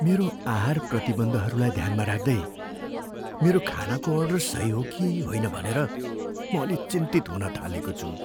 मेरो आहार प्रतिबन्धहरूलाई ध्यानमा राख्दै, मेरो खानाको अर्डर सही हो कि होइन भनेर म अलि चिन्तित हुन थालेको छु।